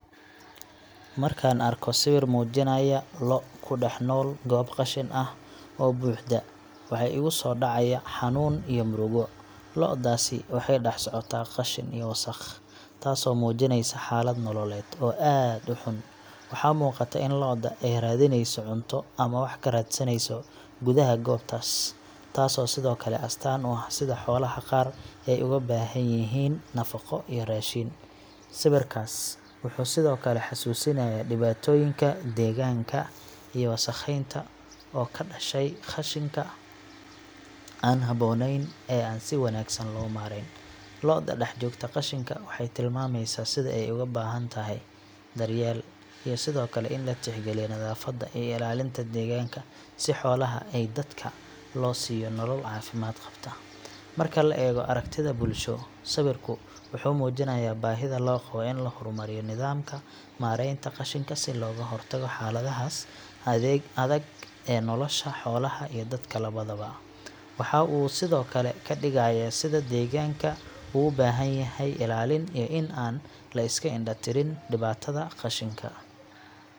Markaan arko sawir muujinaya lo’ ku dhex nool goob qashin ah oo buuxda, waxa igu soo dhacaya xanuun iyo murugo. Lo'daasi waxay dhex socotaa qashin iyo wasakh, taasoo muujinaysa xaalad nololeed oo aad u xun. Waxaa muuqata in lo’da ay raadinayso cunto ama wax ka raadsanayso gudaha goobtaas, taasoo sidoo kale astaan u ah sida xoolaha qaar ay uga baahan yihiin nafaqo iyo raashin. Sawirkaas wuxuu sidoo kale xusuusinayaa dhibaatooyinka deegaanka iyo wasakhaynta oo ka dhashay qashinka aan habboonayn ee aan si wanaagsan loo maarayn. Lo’da dhex joogta qashinka waxay tilmaamaysaa sida ay ugu baahan tahay daryeel, iyo sidoo kale in la tixgeliyo nadaafadda iyo ilaalinta deegaanka si xoolaha iyo dadka loo siiyo nolol caafimaad qabta. Marka laga eego aragtida bulsho, sawirku wuxuu muujinayaa baahida loo qabo in la horumariyo nidaamka maaraynta qashinka si looga hortago xaaladahaas adag ee nolosha xoolaha iyo dadka labadaba. Waxa uu sidoo kale ka digayaa sida deegaanka ugu baahan yahay ilaalin iyo in aan la iska indha tirin dhibaatada qashinka.